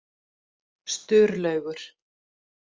Sturlaugur